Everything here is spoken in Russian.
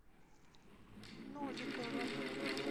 новиковым